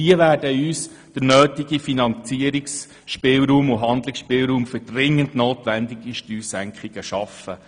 Diese werden uns den nötigen Handlungsspielraum für dringend notwendige Steuersenkungen schaffen.